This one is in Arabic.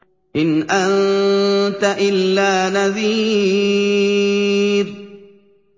إِنْ أَنتَ إِلَّا نَذِيرٌ